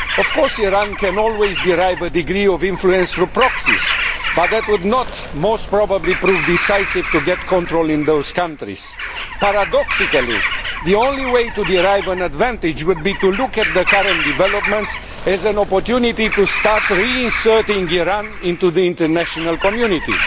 Of course, Iran can always derive a degree of influence through proxies, but that would probably not prove decisive in gaining control in those countries. Paradoxically, the only way to derive an advantage would be to look at the current developments as an opportunity to start reinserting Iran into the international community.